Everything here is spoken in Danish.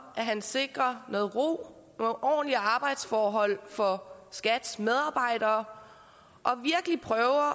at han sikrer noget ro nogle ordentlige arbejdsforhold for skats medarbejdere